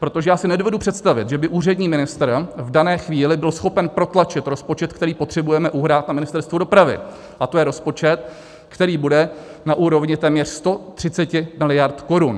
Protože já si nedovedu představit, že by úřední ministr v dané chvíli byl schopen protlačit rozpočet, který potřebujeme uhrát na Ministerstvu dopravy, a to je rozpočet, který bude na úrovni téměř 130 miliard korun.